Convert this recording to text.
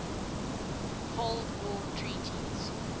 cold war treaties